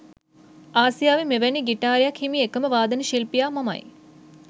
ආසියාවේ මෙවැනි ගිටාරයක් හිමි එකම වාදන ශිල්පියා මමයි.